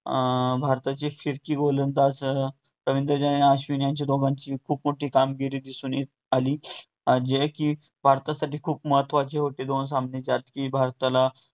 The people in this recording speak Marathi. अं भारताची गोलंदाजसह रवींद्र जडेजा, अश्विनी यांची दोघांची खूप मोठी कामगिरी दिसून ये~ आली. जे कि भारतासाठी खूप महत्वाची होते दोन सामने त्यात कि भारताला